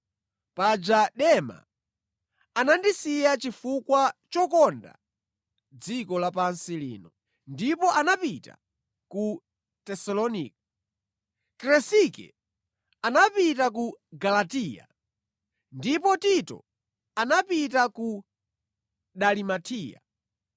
Paja Dema anandisiya chifukwa chokonda dziko lapansi lino, ndipo anapita ku Tesalonika. Kresike anapita ku Galatiya ndipo Tito anapita ku Dalimatiya.